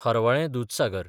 Harvalem Dudhsagar